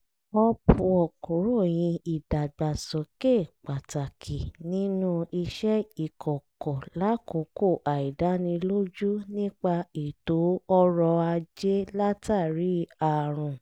upwork ròyìn ìdàgbàsókè pàtàkì nínú iṣẹ́ ìkọ̀kọ̀ lákòókò àìdánilójú nípa ètò ọrọ̀ ajé látàrí àrùn